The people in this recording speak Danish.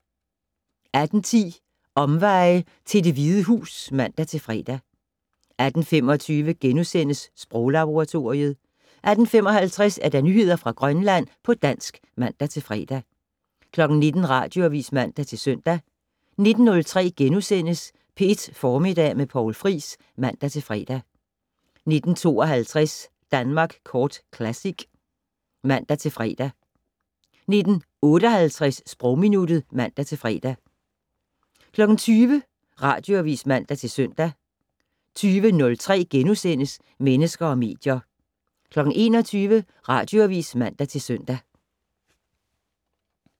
18:10: Omveje til Det Hvide Hus (man-fre) 18:25: Sproglaboratoriet * 18:55: Nyheder fra Grønland på dansk (man-fre) 19:00: Radioavis (man-søn) 19:03: P1 Formiddag med Poul Friis *(man-fre) 19:52: Danmark Kort Classic (man-fre) 19:58: Sprogminuttet (man-fre) 20:00: Radioavis (man-søn) 20:03: Mennesker og medier * 21:00: Radioavis (man-søn)